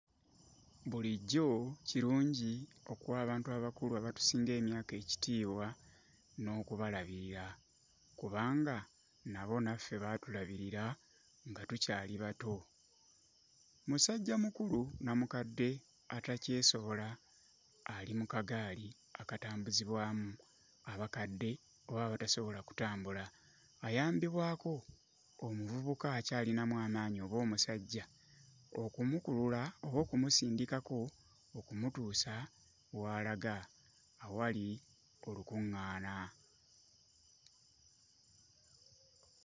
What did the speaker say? Bulijjo kirungi okuwa abantu abakulu abatusinga emyaka ekitiibwa n'okubalabirira kubanga nabo naffe baatulabirira nga tukyali bato. Musajjamukulu nnamukadde atakyesobola ali mu kagaali akatambuzibwamu abakadde oba abatasobola kutambula ayambibwako omuvubuka akyalinamu amaanyi oba omusajja okumukulula oba okumusindikako okumutuusa w'alaga awali olukuŋŋaana.